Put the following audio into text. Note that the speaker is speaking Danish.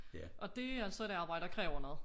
Og det altså et arbejde der kræver noget